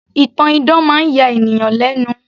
ìtàn idán máa ń ya ènìyàn lẹ́nu